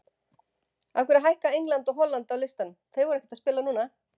Af hverju hækka England og Holland á listanum, þeir voru ekkert að spila núna?